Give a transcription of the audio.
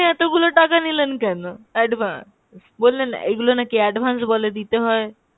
এতগুলো টাকা নিলেন কেন advance? বললেন এইগুলো নাকি advance বলে দিতে হয়।